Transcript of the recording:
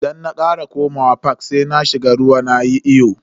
Idan na kara komawa fak sai na shiga ruwa nayi iyo.